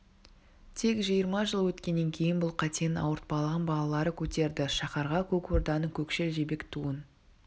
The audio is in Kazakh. тек жиырма жыл өткеннен кейін бұл қатенің ауыртпалығын балалары көтерді шаһарға көк орданың көкшіл жібек туын